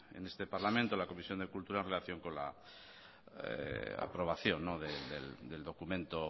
en este parlamento en la comisión de cultura en relación con la aprobación del documento